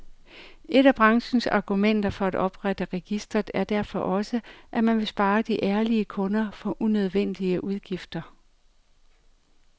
Et af branchens argumenter for at oprette registret er derfor også, at man vil spare de ærlige kunder for unødvendige udgifter.